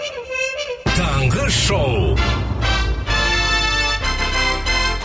таңғы шоу